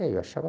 É, eu achava...